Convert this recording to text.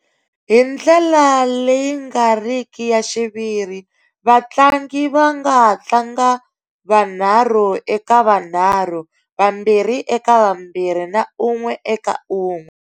Hi ndlela leyi nga riki ya xiviri, vatlangi va nga ha tlanga vanharhu eka vanharhu, vambirhi eka vambirhi na un'we eka un'we.